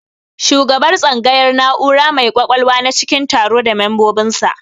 Shugabar tsangayar na'ura mai kwakwalwa na cikin taro da membobin sa